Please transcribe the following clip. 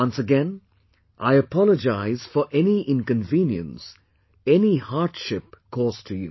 Once again, I apologize for any inconvenience, any hardship caused to you